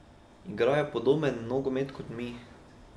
Igrajo podoben nogomet kot mi.